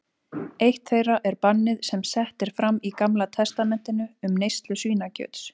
Eitt þeirra er bannið sem sett er fram í Gamla testamentinu um neyslu svínakjöts.